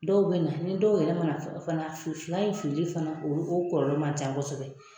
Dɔw be na, ni dɔw yɛrɛ ma na fana fila in fili li fana, o kɔlɔlɔ ma ca kɔsɔbɛ.